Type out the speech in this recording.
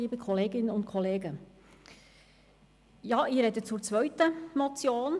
Ja, ich spreche zur zweiten Motion.